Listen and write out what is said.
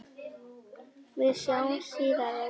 Við sjáumst síðar, afi.